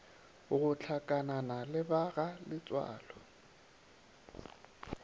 go hlakanana le ba galetsoalo